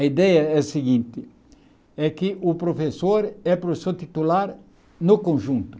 A ideia é a seguinte, é que o professor é professor titular no conjunto.